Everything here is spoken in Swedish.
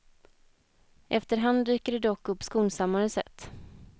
Efter hand dyker det dock upp skonsammare sätt.